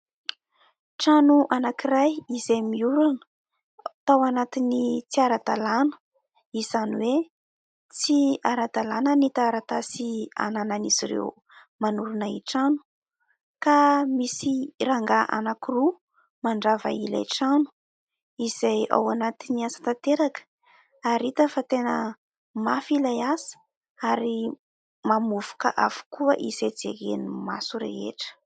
Trano anankiray izay miorina tao anatin'ny tsy ara-dalàna, izany hoe tsy ara-dalàna ny taratasy hananan'izy ireo manorina trano. Ka misy rangahy anankiroa mandrava ilay trano, izay ao anatin'ny asa tanteraka ary hita fa tena mafy ilay asa ary mamovoka avokoa izay jeren'ny maso rehetra.